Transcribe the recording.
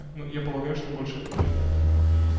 ну я полагаю что больше этого элемента